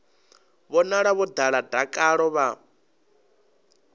vhonala vho ḓala dakalo vha